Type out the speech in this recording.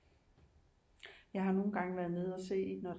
Jeg har nogle gange været nede og se når